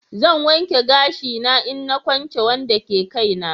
Zan wanke gashin na in na kunce Wanda ke Kai na.